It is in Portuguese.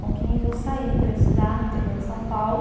Com quinze eu saí para estudar no interior de São Paulo.